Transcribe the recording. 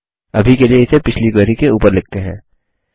अभी के लिए इसे पिछली क्वेरी के ऊपर लिखते हैं